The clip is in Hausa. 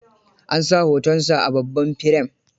An sa hotonsa a babban firem.